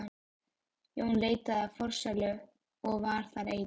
Jón leitaði í forsælu og var þar einn.